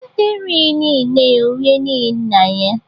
Nwata erighị n'ihi nne ya o rie n'ihi nna ya